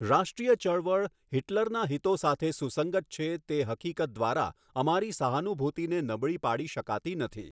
રાષ્ટ્રીય ચળવળ હિટલરના હિતો સાથે સુસંગત છે તે હકીકત દ્વારા અમારી સહાનુભૂતિને નબળી પાડી શકાતી નથી.